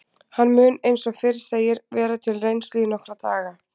Hann mun eins og fyrr segir vera til reynslu í nokkra daga.